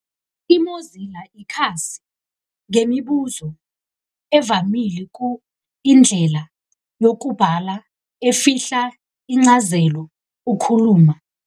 I -Mozilla ikhasi ngemibuzo evamile ku indlela yokubhala efihla incazelo ukhuluma.